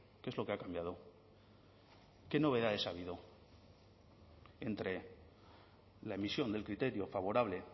qué es lo que ha cambiado qué novedades ha habido entre la emisión del criterio favorable